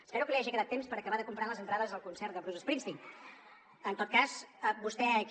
espero que li hagi quedat temps per acabar de comprar les entrades del concert de bruce springsteen